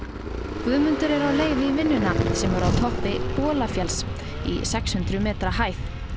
Guðmundur er á leið í vinnuna sem er á toppi Bolafjalls í sex hundruð metra hæð